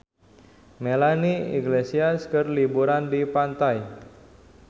Melanie Iglesias keur liburan di pantai